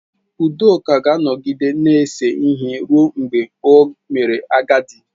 Udoka ga-anọgide na-ese ihe ruo mgbe o mere agadi